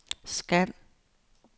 scan